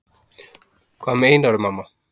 Hvað meinarðu, mamma?